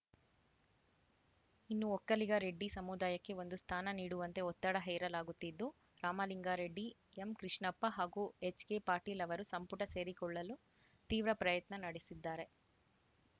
ಇನ್ನು ಒಕ್ಕಲಿಗರೆಡ್ಡಿ ಸಮುದಾಯಕ್ಕೆ ಒಂದು ಸ್ಥಾನ ನೀಡುವಂತೆ ಒತ್ತಡ ಹೇರಲಾಗುತ್ತಿದ್ದು ರಾಮಲಿಂಗಾರೆಡ್ಡಿ ಎಂಕೃಷ್ಣಪ್ಪ ಹಾಗೂ ಎಚ್‌ಕೆ ಪಾಟೀಲ್‌ ಅವರು ಸಂಪುಟ ಸೇರಿಕೊಳ್ಳಲು ತೀವ್ರ ಪ್ರಯತ್ನ ನಡೆಸಿದ್ದಾರೆ